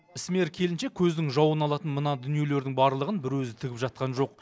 ісмер келіншек көздің жауын алатын мына дүниелердің барлығын бір өзі тігіп жатқан жоқ